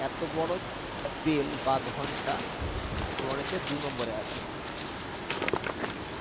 bell বা ঘন্টা তোমার হচ্ছে দুনম্বরে আছে এটা